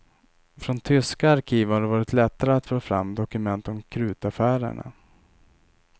Från tyska arkiv har det varit lättare att få fram dokument om krutaffärerna.